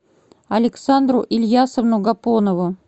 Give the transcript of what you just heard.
александру ильясовну гапонову